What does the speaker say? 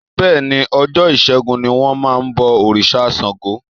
Bẹ́ẹ̀ ni, ọjọ́ Ìsẹ́gun ní wọ́n máa ń bọ òrìṣà Ṣango.